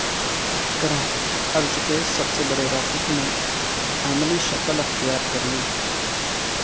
کرہ ارض کے سب سے بڑے راکٹ نے عملی شکل اختیار کرلی